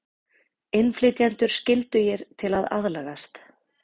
Innflytjendur skyldugir til að aðlagast